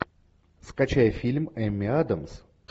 скачай фильм эмми адамс